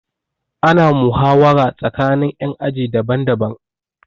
Ana muhawara tsakanin ƴan aji daban daban